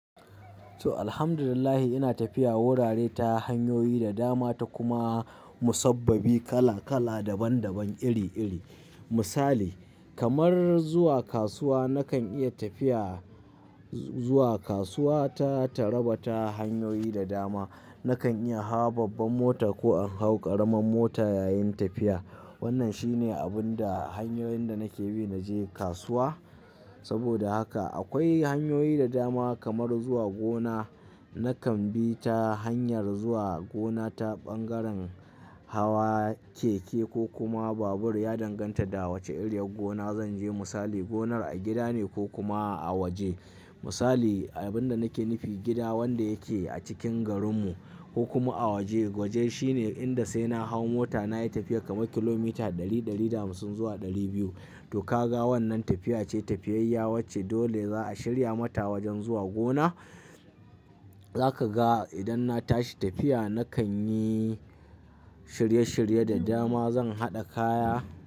To alhamdulillah ina tafiya wurare ta hanyoyi da dama ta kuma musabbabi kala kala daban daban iri iri. Misali kamar zuwa kasuwa nakan iya tafiya zuwa kasuwa ta taraba ta hanyoyi da dama. Nakan iya hawa babban mota ko an hau karamar mota yayin tafiya. Wannan shine abun da hanyoyin da nake bi na je kasuwa. Saboda haka akwai hanyoyi da dama kamar zuwa gona nakan bi ta hanyar zuwa gona ta ɓangaren hawa keke ko kuma babur ya danganta da wace iriyar gona zan je misali gonar a gida ne ko kuma a waje. Misali abin da nake nufi gida wanda yake a cikin garinmu ko kuma a waje. Waje shine inda sai na hau mota na yi tafiya kamar kilomita ɗari, ɗari da hamsin zuwa ɗari biyu. To ka ga wannan tafiya ce tafiyayya wacce dole za a shirya mata wajen zuwa gona. Zaka ga idan na tashi tafiya nakan yi shirye shirye da dama zan haɗa kaya.